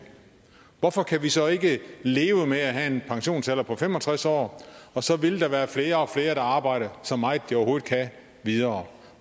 hvorfor kan vi så ikke leve med at have en pensionsalder på fem og tres år for så vil der være flere og flere der arbejder så meget de overhovedet kan videre